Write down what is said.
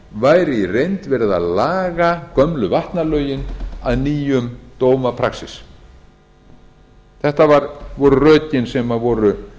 væri í reynd verið að laga gömlu vatnalögin að nýjum dómapraxís þetta voru rökin sem voru